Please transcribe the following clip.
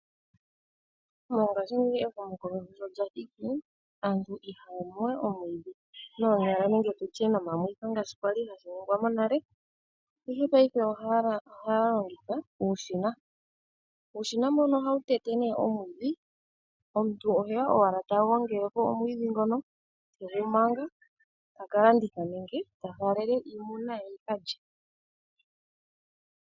Mongaashingeyi ehumokomeho sho lya thiki aantu ihaya mu wee omwiidhi noonyala nenge tutye nomamwitho ngaashi shali hashi ningwa monale ihe payife ohaya longitha uushina, uushina mbono ohawu tete nee omwiidhi omuntu oheya owala ta gongelepo omwiidhi ngono tegu manga taka landitha nenge ta faalele iimuna ye yika lye.